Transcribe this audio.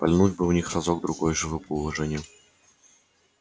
пальнуть бы в них разок другой живо бы уважение